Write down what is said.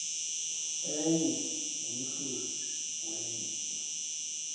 enye ngomhluzi wenye